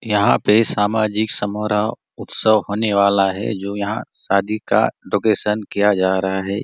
यहाँ पे सामाजिक समारोह उत्सव होने वाला है जो यहाँ शादी का डेकोरेशन किया जा रहा है।